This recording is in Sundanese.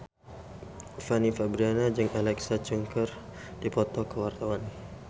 Fanny Fabriana jeung Alexa Chung keur dipoto ku wartawan